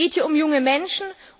Es geht hier um junge Menschen!